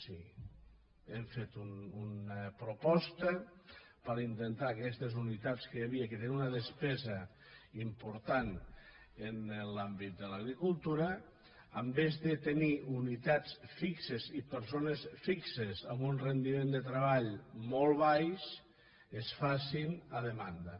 sí hem fet una proposta per a intentar que aquestes unitats que hi havia que eren una despesa important en l’àmbit de l’agricultura en comptes de tenir unitats fixes i persones fixes amb un rendiment de treball molt baix es facin a demanda